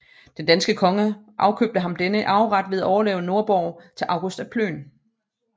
Den danske konge afkøbte ham denne arveret ved at overlade Nordborg til August af Plön